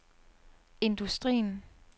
industrien